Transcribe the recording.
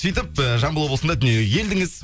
сөйтіп ііі жамбыл облысында дүниеге келдіңіз